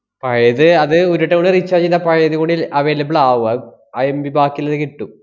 പഴയത് അത് ഒരുട്ടം കൂടെ recharge ചെയ്താ പഴയത് കൂടി ല~ available ആവും അഹ് ആ MB ബാക്കിയിള്ളത് കിട്ടും.